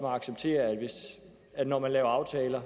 acceptere at der når man laver aftaler